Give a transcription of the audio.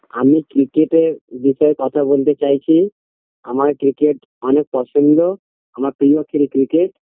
আমি ক্রিকেটের বিষয়ে কথা বলতে চাইছি আমার ক্রিকেট অনেক পছন্দ আমার প্রিয় খেলা ক্রিকেট